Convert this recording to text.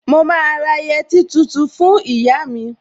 Mo máa ra yẹtí tuntun fún ìyá mi